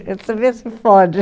Você vê se pode.